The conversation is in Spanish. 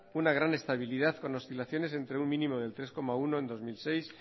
una gran estabilidad con oscilaciones entre un mínimo del tres coma uno en dos mil seis